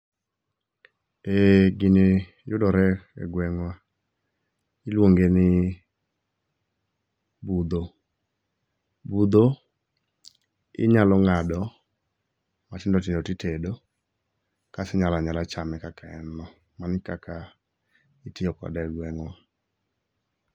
Eh gini yudore e gweng'wa. Iluongeni budho. Budho inyalo ng'ado matindotindo titede, kaso inyalo anyala chame kaka en no. Mano e kaka itiyo kode e gweng'wa.